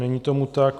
Není tomu tak.